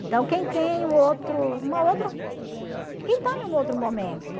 Então, quem tem um outro, uma outra, quem está em um outro momento?